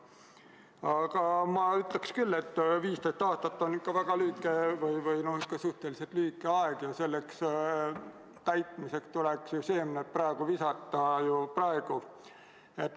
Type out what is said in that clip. Aga samas ma ütleks, et 15 aastat on suhteliselt lühike aeg ja eesmärkide täitmiseks tuleks seemned praegu mulda visata.